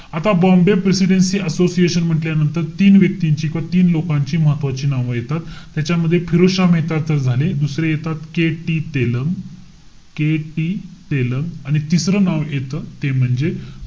आता Bombay presidency association म्हंटल्यानंतर, तीन व्यक्तींची किंवा तीन लोकांची महत्वाची नावं येतात. ह्याच्यामध्ये फिरोजशहा मेहता तर झाले. दुसरे येतात KT तेलंग. KT तेलंग. तिसरं नाव येत, ते म्हणजे,